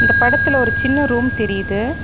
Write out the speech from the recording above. இந்த படத்துல ஒரு சின்ன ரூம் தெரிது.